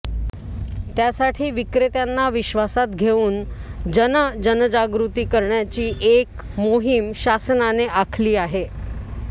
त्यासाठी विक्रेत्यांना विश्वासात घेऊन जन जनजागृती करण्याची एक मोहीम शासनाने आखली आहे